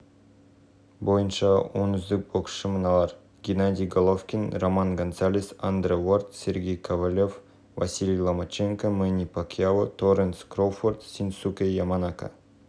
заң жобасын іске асыруға жылдары млрд теңге қажет мәжілістің жалпы отырысын онлайн сайтынан көре аласыз екінші